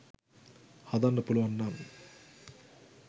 හදන්න පුළුවන් නම්